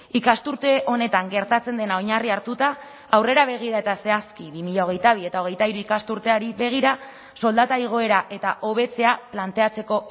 ikasturte honetan gertatzen dena oinarri hartuta aurrera begira eta zehazki bi mila hogeita bi eta hogeita hiru ikasturteari begira soldata igoera eta hobetzea planteatzeko